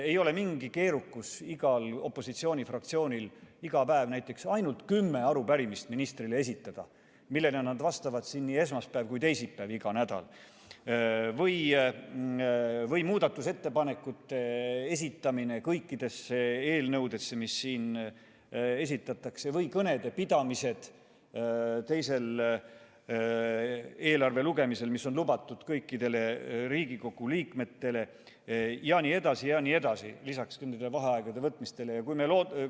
Ei ole mingi keerukus igal opositsioonifraktsioonil iga päev esitada ministrile näiteks kümme arupärimist, millele nad vastavad siin igal nädalal nii esmaspäeval kui ka teisipäeval, või muudatusettepanekute esitamine kõikide eelnõude kohta, mida siin esitletakse, või kõnede pidamine eelarve teisel lugemisel, mis on lubatud kõikidele Riigikogu liikmetele, lisaks kümnete vaheaegade võtmine jne.